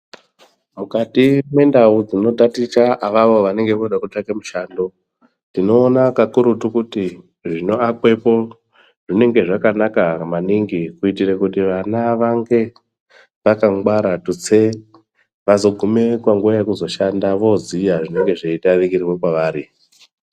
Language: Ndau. Mukati mwendau dzinotaticha avavo vanenge voda kutsvake mishando, tinoona kakurutu kuti zvinoakwepo zvinenge zvakanaka maningi kuitire kuti vana vange vakangwara, tutse vazogume panguva yekuzoshanda voziya zvinenge zveidarikirwe kwavari.